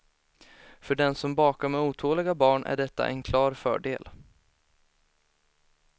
För den som bakar med otåliga barn är detta en klar fördel.